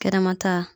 Kɛnɛma ta